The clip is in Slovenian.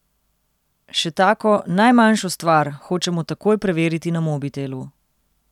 Še tako, najmanjšo stvar, hočemo takoj preveriti na mobitelu.